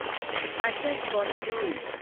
отец года